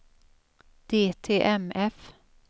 DTMF